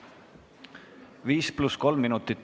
5 + 3 minutit.